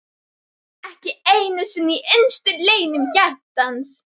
Ekki einu sinni í innstu leynum hjartans!